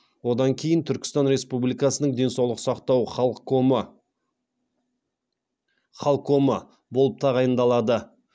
одан кейін түркістан республикасының денсаулық сақтау халкомы болып тағайындалады